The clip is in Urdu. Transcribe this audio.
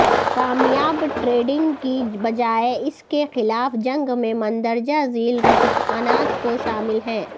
کامیاب ٹریڈنگ کی بجائے اس کے خلاف جنگ میں مندرجہ ذیل رجحانات کو شامل ہے